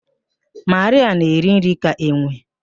Marịa na-eri nri ka enwe